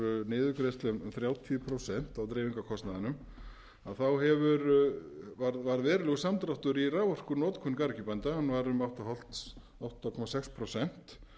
niðurgreiðslum um þrjátíu prósent á dreifingarkostnaðinum þá varð verulegur samdráttur í raforkunotkun garðyrkjubænda hann var um átta komma sex prósent